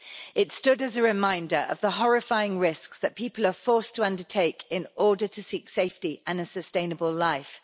It stood as a reminder of the horrifying risks that people are forced to undertake in order to seek safety and a sustainable life.